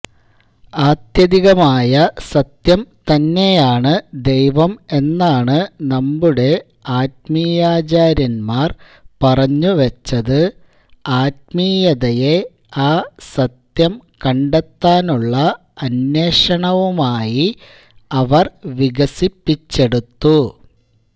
ആത്യന്തികമായ സത്യം തന്നെയാണ് ദൈവം എന്നാണ് നമ്മുടെ ആത്മീയാചാര്യന്മാർ പറഞ്ഞുവെച്ചത് ആത്മീയതയെ ആ സത്യം കണ്ടെത്താനുള്ള അന്വേഷണവുമായി അവർ വികസിപ്പിച്ചെടുത്തു